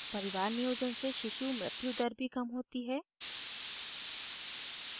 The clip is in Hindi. परिवार नियोजन से शिशु मृत्यु दर भी कम होती है